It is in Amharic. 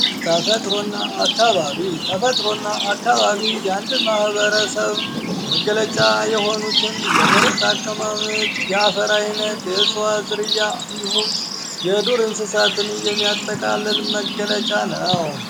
ተፈጥሮ እና አካባቢ፤ ተፈጥሮ እና አካባቢ የአንድን ማህበረሰብ መገለጫ የሆኑትን የመሬት አቀማመጥ፣ የአፈር አይነት፣ የእጽዋት ዝርያ እንዲሁም የዱር እንሰሳትን የሚያጠቃልል መገለጫ ነው።